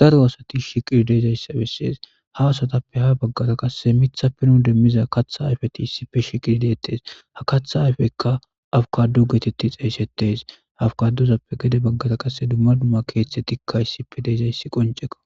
daro asati shiqirdeezayssa bessees ha asatappe ha baggata qasse mitha pinon demmiza katha ayfeti issipfe shiqiddeettees ha katha ayfeykka afkadu geetetti xeeyssettees hafkaduzappe gede baggata qasse dumma dumma keeththe tikka issipe deezayssi qonceko.